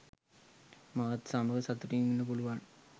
මාත් සමඟ සතුටින් ඉන්න පුළුවන්.